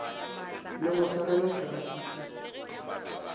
le go swarelela terapi e